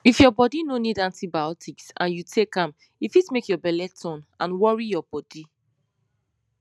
if your body no need antibiotics and you take am e fit make your belle turn and worry your body